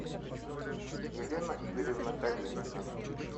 елена игоревна калинина